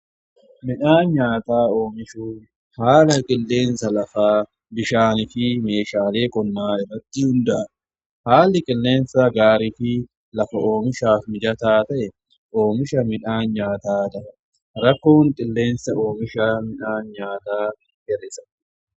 Midhaan nyaataa oomishu haala qilleensa lafa bishaan fi meeshaalee qonnaa irratti hunda'a haali qilleensa gaarii fi lafa oomishaaf mijataa ta'e oomisha midhaan nyaataa rakkoon qilleensa oomishaa midhaan nyaataa hir'isa.